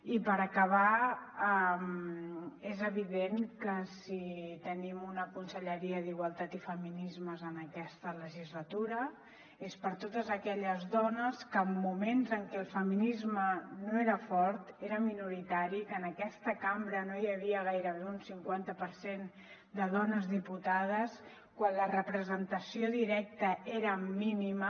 i per acabar és evident que si tenim una conselleria d’igualtat i feminismes en aquesta legislatura és per totes aquelles dones que en moments en què el feminisme no era fort era minoritari que en aquesta cambra no hi havia gairebé ni un cinquanta per cent de dones diputades quan la representació directa era mínima